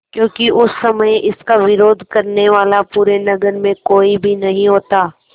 क्योंकि उस समय इसका विरोध करने वाला पूरे नगर में कोई भी नहीं होता